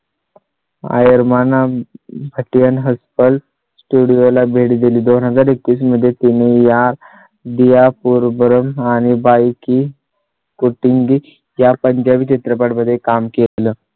Arya Bhatt hostel studio ला भेट दिली. दोन हजार एकवीस मध्ये तुम्ही या द्या पूर बरं आणि बाय की कोटिंग त्या पंजाबी चित्रपटां मध्ये काम केलं.